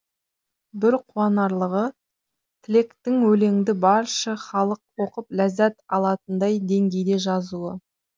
бір қуанарлығы тілектіңөлеңді баршы халық оқып ләззат алатындай деңгейде жазуы